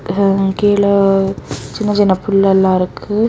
கீழ சின்ன சின்ன புல் எல்லாம் இருக்கு.